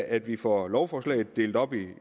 at vi får lovforslaget delt op i